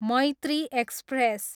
Maitri express